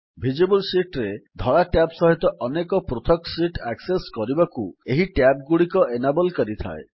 visible sheet ରେ ଧଳା tab ସହିତ ପ୍ରତ୍ୟେକ ପୃଥକ୍ ଶିଟ୍ ଆକ୍ସେସ୍ କରିବାକୁ ଏହି ଟ୍ୟାବ୍ ଗୁଡ଼ିକ ଏନାବଲ୍ କରିଥାଏ